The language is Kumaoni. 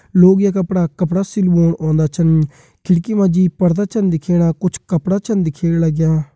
लोग यख अपड़ा कपड़ा सिल्वोण औंदा छन खिड़की मा जी पर्दा छन दिखेणा कुछ कपड़ा छन दिखेण लग्यां।